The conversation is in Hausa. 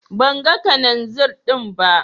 Ban gan Kananzir din ba.